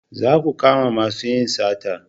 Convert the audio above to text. Za ku kama masu yin sata!